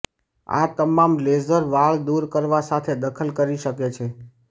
આ તમામ લેસર વાળ દૂર કરવા સાથે દખલ કરી શકે છે